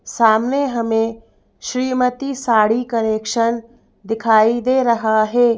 सामने हमें श्रीमती साड़ी कलेक्शन दिखाई दे रहा है।